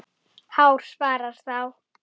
Hár svarar þá